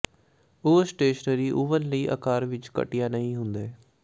ਉਹ stationary oven ਲਈ ਆਕਾਰ ਵਿਚ ਘਟੀਆ ਨਹੀਂ ਹੁੰਦੇ